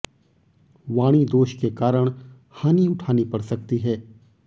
वाणी दोष के कारण हानि उठानी पड़ सकती है